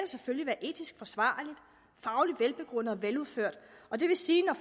selvfølgelig være etisk forsvarligt fagligt velbegrundet og veludført og det vil sige at når